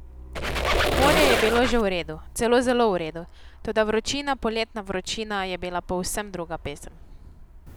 Morje je bilo že v redu, celo zelo v redu, toda vročina, poletna vročina je bila povsem druga pesem.